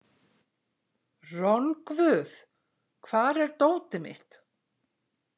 Rongvuð, hvar er dótið mitt?